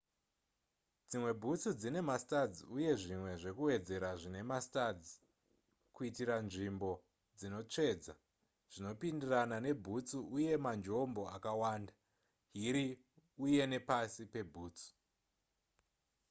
dzimwe bhutsu dzine mastuds uye zvimwe zvekuwedzera zvine mastuds kuitira nzvimbo dzinotsvedza zvinopindirana nebhutsu uye manjombo akawanda hiri uye nepasi pebhutsu